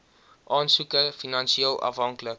aansoeker finansieel afhanklik